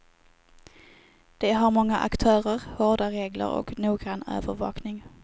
De har många aktörer, hårda regler och noggrann övervakning.